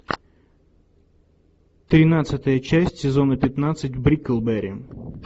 тринадцатая часть сезона пятнадцать бриклберри